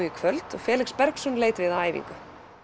í kvöld en Felix Bergsson leit við á æfingu